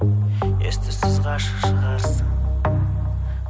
ес түссіз ғашық шығарсың